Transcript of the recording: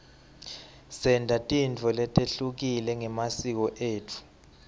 senta tintfo letehlukile ngemasiko etfu